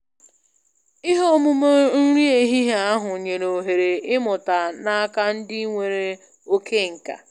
Ihe omume nri ehihie ahụ nyere ohere ịmụta n'aka ndị nwere oke nka